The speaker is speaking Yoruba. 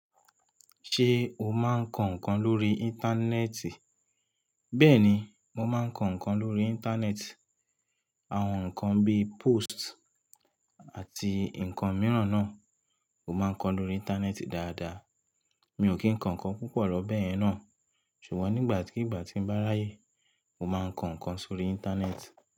Ṣé o máa ń kọ ǹkan lórí Íńtánẹ́ẹ̀tì? Bẹ́ẹ̀ni, mo máa ń kọ ǹkan lórí Íńtánẹ́ẹ̀tì. Àwọn ǹkan bíi póst àti ǹkan mìíràn náà, mo máa ń kọ lórí Íńtánẹ́ẹ̀tì dáadáa. Mi ò kí ń kọ ǹkan púpọ̀ lọ bẹ́ẹ̀ náà, ṣùgbọ́n nígbàkigbà tí ń bá ráyè, mo máa ń kọ ǹkan sórí Íńtánẹ́ẹ̀tì.